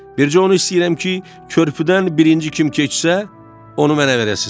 Bircə onu istəyirəm ki, körpüdən birinci kim keçsə, onu mənə verəsiz.